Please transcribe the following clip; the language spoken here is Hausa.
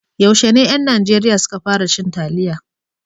Yaushe ne ƴan Najeriya su ka fara cin taliya?